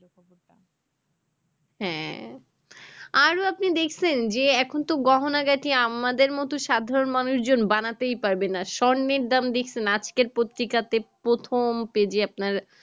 হ্যাঁ আরো আপনি দেখছেন যে এখন তো গহনা গাটির আমাদের মতো সাধারণ মানুষজন বানাতে পারবে না স্বর্ণের দাম দেখছেন আজকের পত্রিকাতে প্রথম page এ আপনার